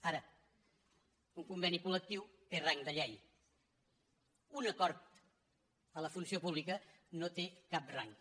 ara un conveni col·té rang de llei un acord a la funció pública no té cap rang